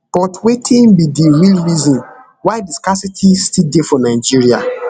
but wetin be di real reason why di scarcity still dey for nigeria